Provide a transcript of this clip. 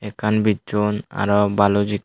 ekkan bicchon aro baloch ek.